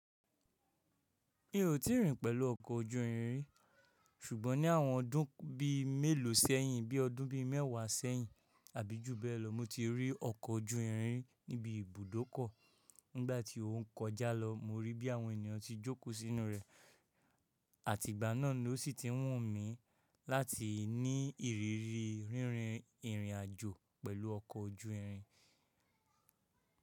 Mi ò tí ì rìn pẹ̀lú ọkọ̀ ojú irin ri, ṣùgbọ́n ni àwọn ọdún bí i mélòó sẹ́yìn, bí i ọdún bí i mẹ́wàá sẹ́yìn àbí jù bẹ́ẹ̀ lọ, mo ti rí ọkọ̀ ojú irin ri níbi ibùdókọ̀, nígbà tí o ń kọjá lọ, mo rí bí àwọn ènìyàn ti jókòó sínú rẹ̀, àti ìgbà náà ló sì ti wọ̀n mí láti ní ìrírí rínrin ìrìn àjò pẹ̀lú ọkọ̀ ojú irin.